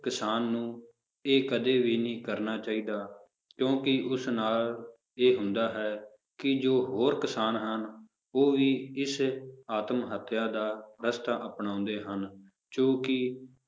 ਕਿਸਾਨ ਨੂੰ ਇਹ ਕਦੇ ਵੀ ਨਹੀਂ ਕਰਨਾ ਚਾਹੀਦਾ ਕਿਉਂਕਿ ਉਸ ਨਾਲ ਇਹ ਹੁੰਦਾ ਹੈ ਕਿ ਜੋ ਹੋਰ ਕਿਸਾਨ ਹਨ, ਉਹ ਵੀ ਇਸ ਆਤਮ ਹੱਤਿਆ ਦਾ ਰਸਤਾ ਅਪਣਾਉਂਦੇ ਹਨ, ਜੋ ਕਿ